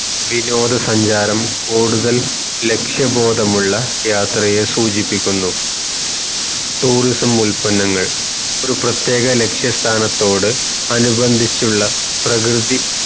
വിനോദ സഞ്ചാരം കൂടുതൽ ലക്ഷ്യ ബോധമുള്ള യാത്രയെ സൂചിപ്പിക്കുന്നു tourism ഉത്പന്നങ്ങൾ ഒരു പ്രതേക ലക്ഷ്യ സ്ഥാനത്തോട് അനുപന്തിച്ചുള്ള പ്രകൃതി